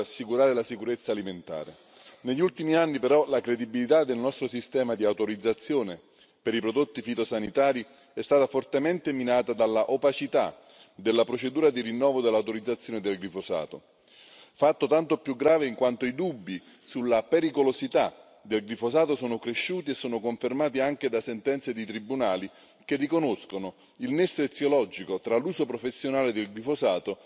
Negli ultimi anni però la credibilità del nostro sistema di autorizzazione per i prodotti fitosanitari è stata fortemente minata dall'opacità della procedura di rinnovo dell'autorizzazione del glifosato, fatto tanto più grave in quanto i dubbi sulla pericolosità del glifosato sono cresciuti e sono confermati anche da sentenze di tribunali che riconoscono il nesso eziologico tra l'uso professionale del glifosato e l'insorgenza di cancro.